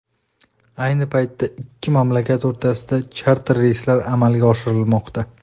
Ayni paytda ikki mamlakat o‘rtasida charter reyslar amalga oshirilmoqda.